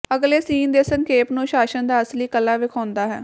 ਅਗਲੇ ਸੀਨ ਦੇ ਸੰਖੇਪ ਨੂੰ ਸ਼ਾਸਨ ਦਾ ਅਸਲੀ ਕਲਾ ਵੇਖਾਉਦਾ ਹੈ